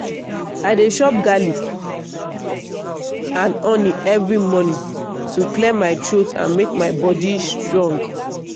i dey chop garlic and honey every morning to clear my throat and make my body strong.